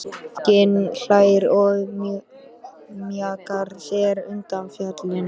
Fanginn hlær og mjakar sér undan fjallinu.